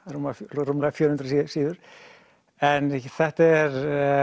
rúmlega fjögur hundruð síður en þetta er